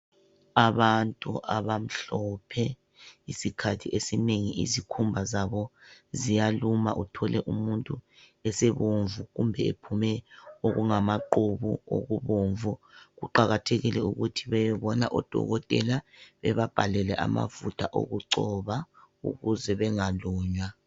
Abantu abamhlophe isikhathi esinengi isikhumba zabo ziyaluma uthole umuntu esebomvu kumbe ephume okungamaqubu okubomvu kuqakathekile ukuthi beye bona odokotela bababhalele amafutha okugcoba ukuze bangalunywa.